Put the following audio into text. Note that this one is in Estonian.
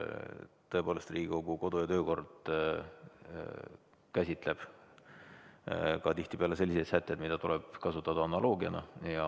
Tõepoolest, Riigikogu kodu- ja töökord käsitleb ka tihtipeale selliseid sätteid, mida tuleb kasutada analoogiana.